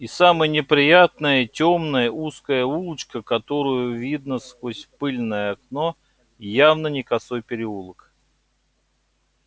и самое неприятное тёмная узкая улочка которую видно сквозь пыльное окно явно не косой переулок